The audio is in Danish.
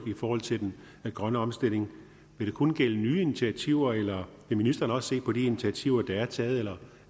forhold til den grønne omstilling vil det kun gælde nye initiativer eller vil ministeren også se på de initiativer der er taget eller